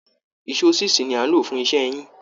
Èso síìsì ni a ń lò fún iṣẹ́ yín